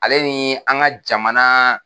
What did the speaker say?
Ale ɲi an ka jamana